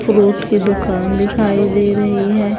Fruit की दुकान दिखाई दे रही है।